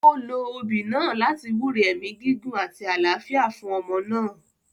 Ó lo obì náà láti wúre ẹ̀mí gígùn àti àlàáfíà fún ọmọ náà.